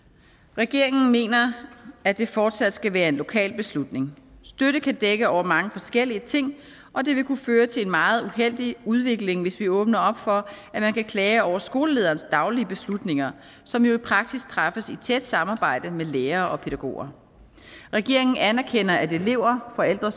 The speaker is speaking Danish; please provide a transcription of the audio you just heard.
regeringen mener at det fortsat skal være en lokal beslutning støtte kan dække over mange forskellige ting og det vil kunne føre til en meget uheldig udvikling hvis vi åbner op for at man kan klage over skolelederens daglige beslutninger som jo i praksis træffes i tæt samarbejde med lærere og pædagoger regeringen anerkender at elever forældre